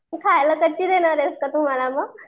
खायला कच्ची देणार आहेस का तू मला मग?